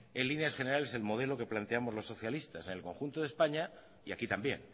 en líneas generales el modelo que planteamos los socialistas en el conjunto de españa y aquí también